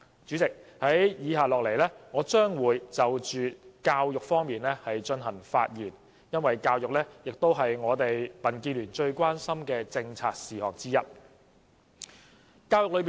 主席，接下來我會就教育議題發言，因為教育是民建聯最關心的一項政策。